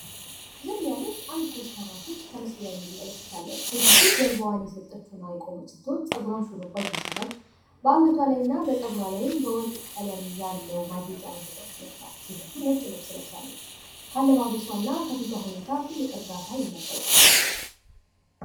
ዝም ያለች አንድ ኮስታራ ሴት በምስሉ ላይ ትታያለች። በአንገቷና በጸጉሯ ላይም ከወርቅ የተሰራ ጌጥ ይታያል። ነጭ ልብስ ለብሳለች። ከፊቷና ከአለባብሷ እርጋታ ይነበብባታል።